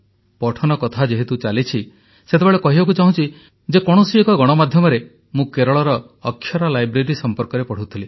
ପଠନ କଥା ଯେହେତୁ ଚାଲିଛି ସେତେବେଳେ କହିବାକୁ ଚାହୁଁଛି ଯେ କୌଣସି ଏକ ଗଣମାଧ୍ୟମରେ ମୁଁ କେରଳର ଅକ୍ଷରା ଲାଇବ୍ରେରୀ ସମ୍ପର୍କରେ ପଢ଼ୁଥିଲି